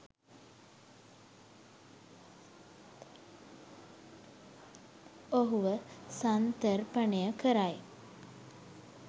ඔහුව සන්තර්පනයකරයි.